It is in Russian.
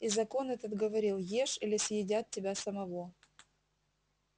и закон этот говорил ешь или съедят тебя самого